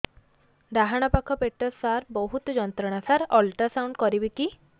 ଡାହାଣ ପାଖ ପେଟ ସାର ବହୁତ ଯନ୍ତ୍ରଣା ସାର ଅଲଟ୍ରାସାଉଣ୍ଡ କରିବି କି